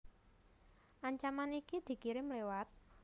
Ancaman iki dikirim liwat